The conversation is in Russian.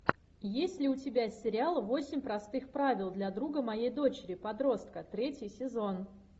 есть ли у тебя сериал восемь простых правил для друга моей дочери подростка третий сезон